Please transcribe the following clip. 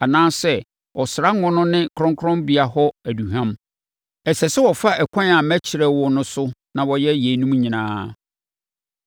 anaasɛ ɔsra ngo no ne kronkronbea hɔ aduhwam. “Ɛsɛ sɛ wɔfa ɛkwan a mɛkyerɛ wo no so na wɔyɛ yeinom nyinaa.”